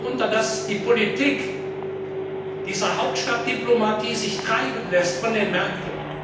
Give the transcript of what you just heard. Sie leidet darunter, dass die Politik dieser Hauptstadtdiplomatie sich treiben lässt von den Märkten.